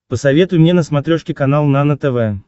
посоветуй мне на смотрешке канал нано тв